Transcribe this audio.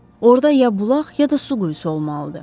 Orda ya bulaq, ya da su quyusu olmalıdır.